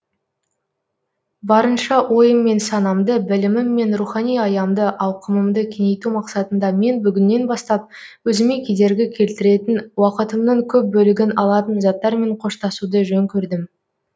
барынша ойым мен санамды білімім мен рухани аямды ауқымымды кеңейту мақсатында мен бүгіннен бастап өзіме кедергі келтіретін уақытымның көп бөлігін алатын заттармен қоштасуды жөн көрдім